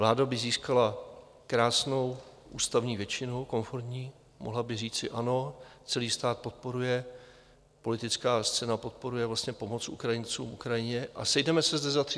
Vláda by získala krásnou ústavní většinu, konformní (?), mohla by říci ano, celý stát podporuje, politická scéna podporuje pomoc Ukrajincům, Ukrajině, a sejdeme se zde za 30 dnů.